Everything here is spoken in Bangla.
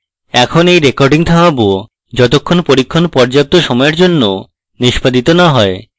এখন এই recording থামাবো যতক্ষণ পরীক্ষণ পর্যাপ্ত সময়ের জন্য নিষ্পাদিত না হয়